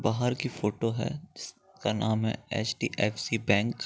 बाहर की फोटो है जिसका नाम है एच.डी.एफ.सी. बैंक --